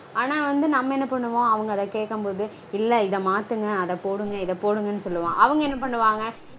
ஆனா வந்து நம்ம என்ன பண்ணுவோம் அவங்க அத கேக்கும்போது? இல்ல இத மாத்துங்க அத போடுங்க இத போடுங்க நு சொல்வோம். அவங்க என்ன பண்ணுவாங்க